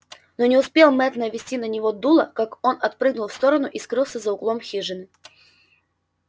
но не успел мэтт навести на него дуло как он отпрыгнул в сторону и скрылся за углом хижины